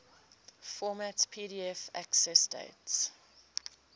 format pdf accessdate